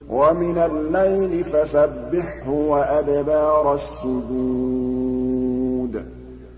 وَمِنَ اللَّيْلِ فَسَبِّحْهُ وَأَدْبَارَ السُّجُودِ